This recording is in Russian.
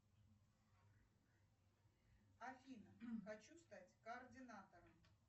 афина хочу стать координатором